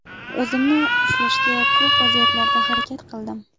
O‘zimni ushlashga ko‘p vaziyatlarda harakat qildim.